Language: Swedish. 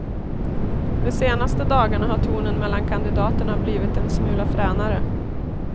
De senaste dagarna har tonen mellan kandidaterna blivit en smula fränare.